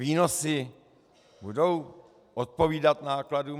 Výnosy budou odpovídat nákladům?